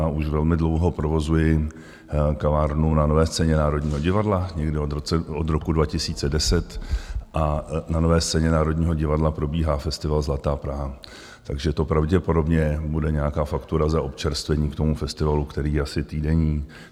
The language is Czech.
A už velmi dlouho provozuji kavárnu na Nové scéně Národního divadla, někdy od roku 2010, a na Nové scéně Národního divadla probíhá festival Zlatá Praha, takže to pravděpodobně bude nějaká faktura za občerstvení k tomu festivalu, který je asi týdenní.